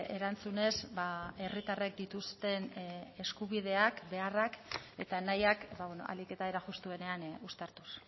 erantzunez herritarrek dituzten eskubideak beharrak eta nahiak ahalik eta era justuenean uztartuz